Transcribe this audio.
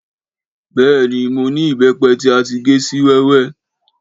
Béènì, mo ni ìbẹ́pẹ ti a ti gé si wẹ́wẹ́?